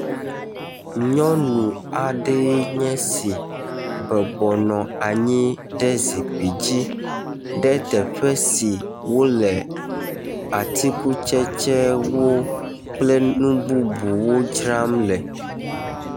Nyɔnu aɖee nye si bɔbɔnɔ anyi ɖe zikpui dzi ɖe teƒe si wo le atikutsetsewo kple nu bubuwo dzram le.